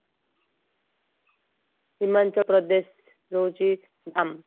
ହିମାଚଳପ୍ରଦେଶ ରହୁଛି ଧଲ